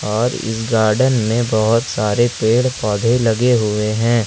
और इस गार्डन में बहोत सारे पेड़ पौधे लगे हुए हैं।